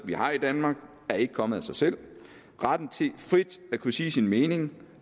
vi har i danmark er ikke kommet af sig selv retten til frit at kunne sige sin mening